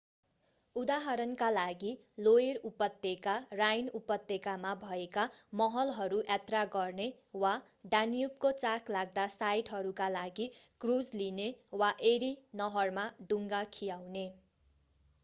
उदाहरणका लागि लोइर उपत्यका राइन उपत्यकामा भएका महलहरू यात्रा गर्ने वा डान्युबको चाखलाग्दा साइटहरूका लागि क्रुज लिने वा एरी नहरमा डुङ्गा खियाउने